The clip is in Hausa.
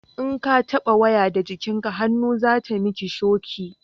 in ka taba waya da jikakken hannu za ta mi ki shoki